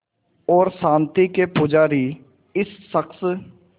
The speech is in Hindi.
और शांति के पुजारी इस शख़्स